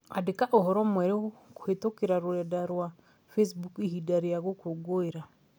Andika ũhoro mwerũkũhītũkīra rũrenda rũa facebook ihinda rĩa gũkũngũĩra